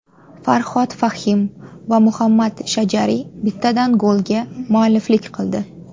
Farhod Fahim va Muhammad Shajari bittadan golga mualliflik qildi.